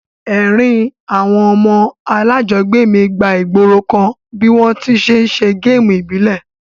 Èrin àwon ọmọ alájogbé mi gba ìgborokan bi won ti n se game ìbílẹ̀